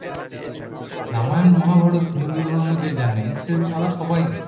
রামায়ণ মহাভারত হিন্দু ধর্ম যে জানে সে তারা সবাই জানে